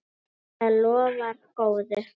Það lofar góðu.